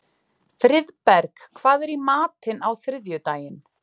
Friðberg, hvað er í matinn á þriðjudaginn?